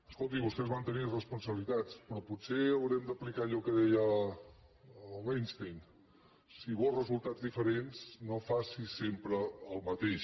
escolti vostès van tenir responsabilitats però potser haurem d’aplicar allò que deia l’einstein si vols re·sultats diferents no facin sempre el mateix